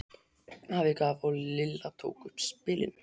Afi gaf og Lilla tók upp spilin.